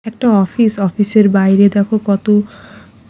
একটা অফিস অফিসের বাইরে দেখো কত --